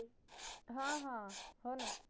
हा हा होना